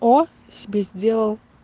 о себе сделал